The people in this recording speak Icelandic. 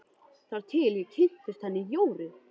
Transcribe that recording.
Þar til ég kynntist henni Jóru.